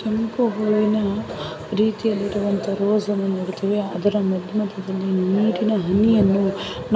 ಕೆಂಪು ಬಣ್ಣದಿಂದ ಹೊಳೆಯುತ್ತಿರುವ ರೀತಿಯಲ್ಲಿರುವ ರೋಜ್ ಅನ್ನು ನೋಡುತ್ತೇವೆ ಅದರ ಮೇಲೆ ಬಿದ್ದಿರುವ ನೀರಿನ ಹನಿಯನ್ನು